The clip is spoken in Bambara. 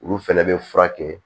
Olu fɛnɛ bɛ furakɛ